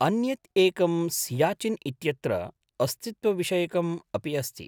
अन्यत् एकं सियाचिन् इत्यत्र अस्तित्वविषयकम् अपि अस्ति।